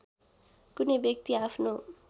कुनै व्यक्ति आफ्नो